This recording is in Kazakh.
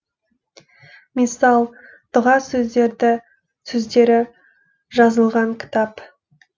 миссал дұға сөздері жазылған кітап